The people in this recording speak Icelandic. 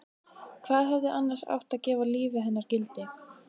Hvað hefði annars átt að gefa lífi hennar gildi?